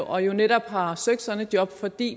og jo netop har søgt sådan et job fordi